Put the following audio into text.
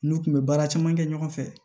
N'u kun bɛ baara caman kɛ ɲɔgɔn fɛ